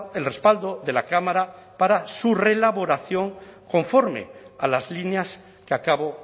el respaldo de la cámara para su reelaboración conforme a las líneas que acabo